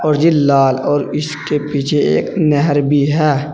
और ये लाल और इसके पीछे एक नहर भी है।